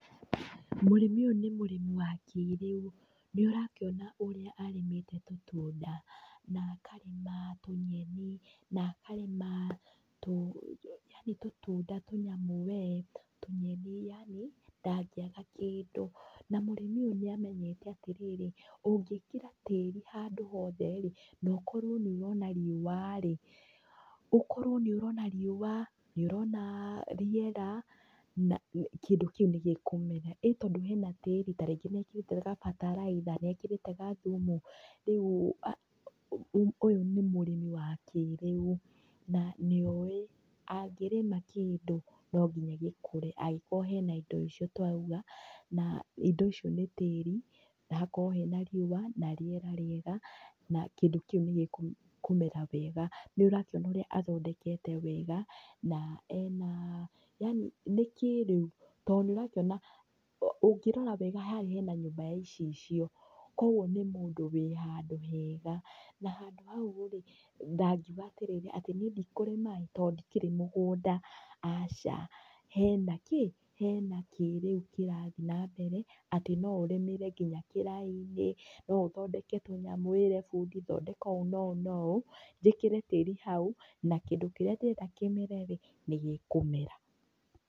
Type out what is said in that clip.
Mũrĩmi ũyũ nĩ mũrĩmi wa kĩĩrĩu, nĩ ũrakĩona ũrĩa arĩmĩte tũtunda, na akarĩma tũnyeni, na akarĩma yani tũtunda tũnyamũ we, tũnyeni, yani, ndangĩaga kĩndũ. Na mũrĩmi ũyũ nĩamenyete atĩrĩrĩ, ũngĩkĩra tĩri handũ hothe rĩ, nokorwo nĩũrona riũa rĩ, ũkorwo nĩ ũrona riũa, nĩ ũrona rĩera, kĩndũ kĩu nĩ gĩkũmera, ĩ tondũ hena tĩĩri, tarĩngĩ mekĩrĩte gabataraitha, nĩekĩrĩte gathumu, rĩu ũyũ nĩ mũrĩmi wa kĩĩrĩu na nĩoĩ angĩrĩma kĩndũ, no nginya gĩkũre angĩkorwo hena indo icio twauga, na indo icio nĩ tĩĩri, na hakorwo hena riũa na rĩera rĩega na kĩndũ kĩu nĩ gĩkũmera wega. Nĩ ũrakĩona ũrĩa athondekete wega na ena, yani nĩ kĩĩrĩu to nĩ ũrakĩona, ũngĩrora wega harĩa hena nyũmba ya icicio, koguo nĩ mũndũ wĩ handũ hega, na handũ hau rĩ, ndangiuga atĩrĩrĩ, atĩ niĩ ndikũrĩmaĩ, tondũ ndikĩrĩ mũgũnda, aca, hena kĩ, hena kĩĩrĩu kĩrathi nambere atĩ no ũrĩmĩre nginya kĩraĩ-inĩ, no ũthondeke tũnyamũ wĩre bundi thondeka ũũ na ũũ na ũũ, njĩkĩre tĩĩri hau, na kĩndũ kĩrĩa ndĩrenda kĩmere rĩ, nĩ gĩkũmera.